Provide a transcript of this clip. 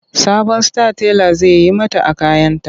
Sabon style tela zai yi mata a kayanta.